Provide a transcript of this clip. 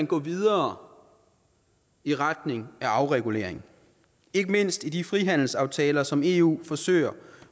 gå videre i retning af afregulering ikke mindst i de frihandelsaftaler som eu forsøger